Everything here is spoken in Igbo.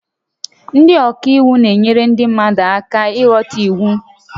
Ndị ọka iwu na-enyere ndị mmadụ aka ịghọta iwu